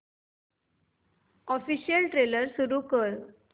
official trailer सुरू कर